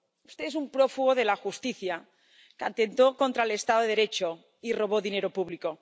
Usted es un prófugo de la justicia, que atentó contra el estado de Derecho y robó dinero público.